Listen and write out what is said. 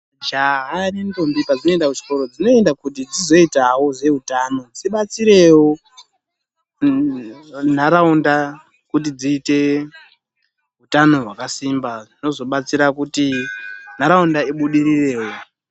Majaha nendombi pedzinoenda kuchikora, dzinoenda kuti dzizoitawo zveutano, dzidetserewo ntharaunda kuti dziite utano hwakagwinya, zvinozodeterawo kuti ntharaunda ibudirirewo.